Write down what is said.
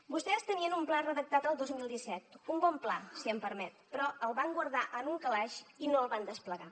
vostès tenien un pla redactat el dos mil disset un bon pla si m’ho permet però el van guardar en un calaix i no el van desplegar